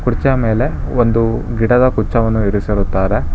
ಕುರ್ಛೆ ಮೆಲೆ ಒಂದು ಗಿಡದ ಕುಚ್ಚವನ್ನು ಇರಿಸಿರುತ್ತಾರೆ.